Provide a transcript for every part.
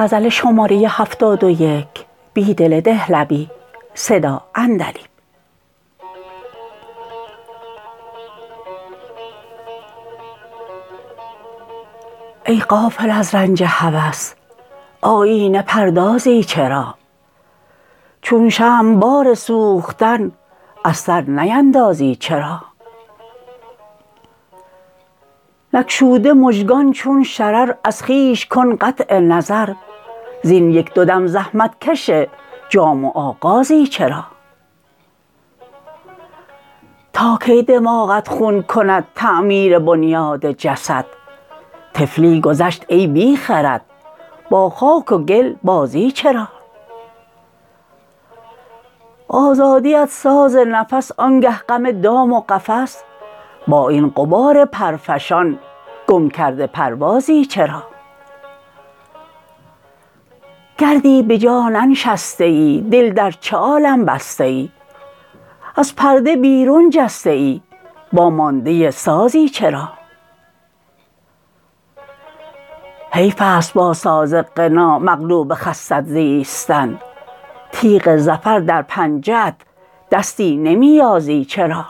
ای غافل از رنج هوس آیینه پردازی چرا چون شمع بار سوختن از سر نیندازی چرا نگشوده مژگان چون شرر از خویش کن قطع نظر زین یک دو دم زحمتکش جامی و آغازی چرا تاکی دماغت خون کند تعمیر بنیاد جسد طفلی گذشت ای بیخرد با خاک وگل بازی چرا آزادی ات ساز نفس آنگه غم دام و قفس با این غبار پرفشان گم کرده پروازی چرا گردی به جا ننشسته ای دل در چه عالم بسته ای از پرده بیرون جسته ای وامانده سازی چرا حیف است با سازغنا مغلوب خست زیستن تیغ ظفر در پنجه ات دستی نمی یازی چرا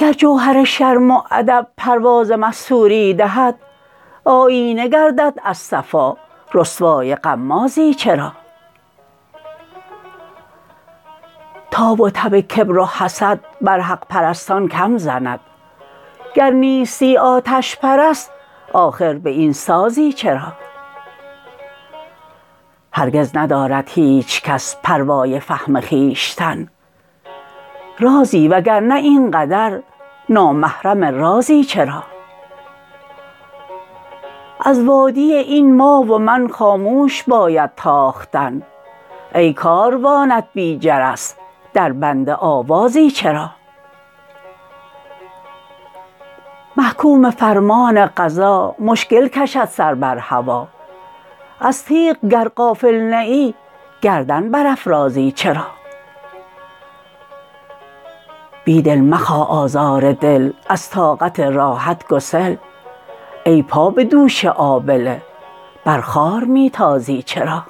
گر جوهر شرم و ادب پرواز مستوری دهد آیینه گردد از صفا رسوای غمازی چرا تاب و تب کبر و حسد بر حق پرستان کم زند گر نیستی آتش پرست آخر به این سازی چرا هرگز ندارد هیچکس پروای فهم خویشتن رازی وگرنه این قدر نامحرم رازی چرا از وادی این ما و من خاموش باید تاختن ای کاروانت بی جرس در بند آوازی چرا محکوم فرمان قضا مشکل کشد سر بر هوا از تیغ گر غافل نه ای گردن برافرازی چرا بیدل مخواه آزار دل از طاقت راحت گسل ای پا به دوش آبله بر خار می تازی چرا